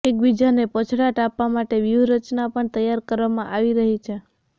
એકબીજાને પછડાટ આપવા માટેની વ્યુહરચના પણ તૈયાર કરવામા ંઆવી રહી છે